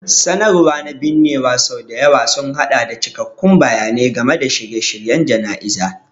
Sanarwar na binnewa sau da yawa sun haɗa da cikakkun bayanai game da shirye-shiryen jana'izar.